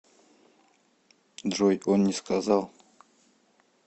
джой он не сказал